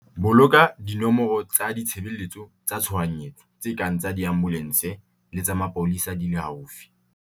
Boloka dinomoro tsa ditshebeletso tsa tshohanyetso tse kang tsa diambolense le tsa mapolesa di le haufi.